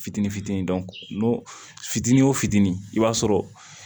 Fitini fitini fitinin o fitini i b'a sɔrɔ